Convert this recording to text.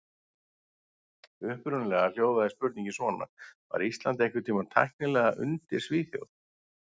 Upprunalega hljóðaði spurningin svona: Var Ísland einhvern tímann tæknilega undir Svíþjóð?